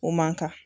O man kan